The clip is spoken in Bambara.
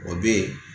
O bɛ yen